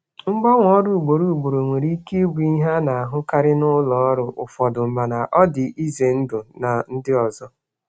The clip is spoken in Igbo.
Ịgbanwe ọrụ ugboro ugboro nwere ike ịbụ ihe a na-ahụkarị n'ụfọdụ ụlọ ọrụ mana ọ dị mana ọ dị ihe egwu na ndị ọzọ.